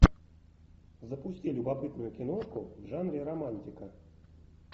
запусти любопытную киношку в жанре романтика